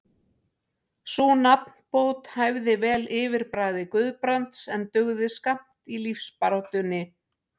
Sú nafnbót hæfði vel yfirbragði Guðbrands, en dugði skammt í lífsbaráttunni.